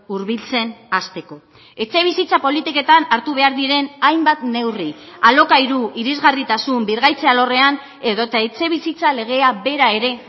hurbiltzen hasteko etxebizitza politiketan hartu behar diren hainbat neurri alokairu irisgarritasun birgaitze alorrean edota etxebizitza legea bera ere